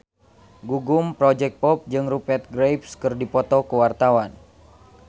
Gugum Project Pop jeung Rupert Graves keur dipoto ku wartawan